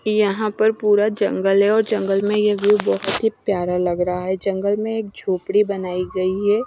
यहां पर पूरा जंगल है और जंगल में ये व्यू भी बहुत ही प्यारा लग रहा है जंगल में एक झोपड़ी बनाई गई है।